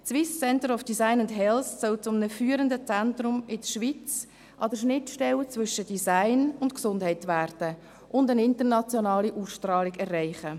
Die SCDH soll zu einem führenden Zentrum der Schweiz an der Schnittstelle zwischen Design und Gesundheit werden und eine internationale Ausstrahlung erreichen.